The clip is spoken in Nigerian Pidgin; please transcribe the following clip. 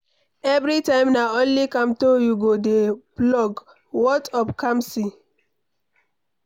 Everytime na only Kamto you go dey flog ,what of Kamsi?